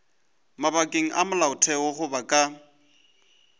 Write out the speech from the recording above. mabakeng a molaotheo goba ka